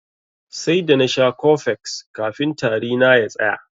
Sai da nasha cofex kafin tari na ya tsaya.